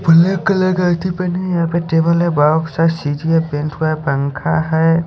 black colour का यहाँ पे टेबल है बॉक्स है पंखा है--